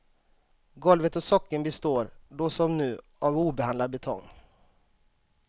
Golvet och sockeln består, då som nu, av obehandlad betong.